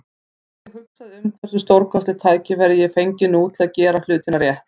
Og ég hugsaði um hversu stórkostlegt tækifæri ég fengi nú til að gera hlutina rétt.